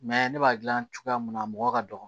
ne b'a gilan cogoya mun na mɔgɔ ka dɔgɔ